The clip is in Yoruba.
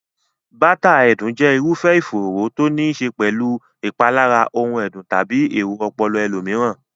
bátàà ẹ̀dùn jẹ́ irúfẹ́ ìfòòró to níí ṣe pẹ̀lú ìpalára ohun ẹ̀dùn tàbí èrò ọpọlọ ẹlòmíràn.